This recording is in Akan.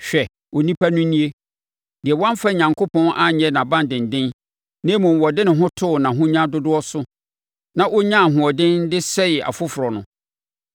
“Hwɛ, onipa no nie deɛ wamfa Onyankopɔn anyɛ nʼabandenden na mmom ɔde ne ho too nʼahonya dodoɔ so na ɔnyaa ahoɔden de sɛee afoforɔ no!”